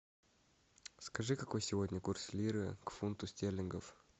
скажи какой сегодня курс лиры к фунту стерлингов